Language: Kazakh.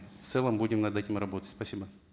в целом будем над этим работать спасибо